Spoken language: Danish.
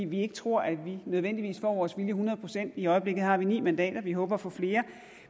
vi tror ikke at vi nødvendigvis får vores vilje hundrede procent i øjeblikket har vi ni mandater vi håber at få flere